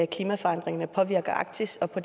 klimaforandringerne påvirker arktis og